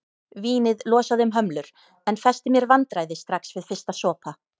Vínið losaði um hömlur en festi mér vandræði strax við fyrsta sopa.